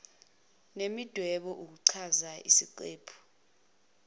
nemidwebo ukuchaza isiqephu